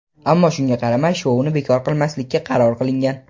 ammo shunga qaramay shouni bekor qilmaslikka qaror qilingan.